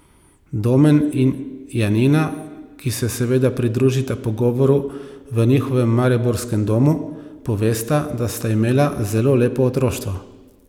Domen in Janina, ki se seveda pridružita pogovoru v njihovem mariborskem domu, povesta, da sta imela zelo lepo otroštvo.